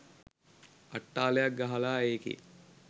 අට්ටාලයක් ගහලා ඒකේ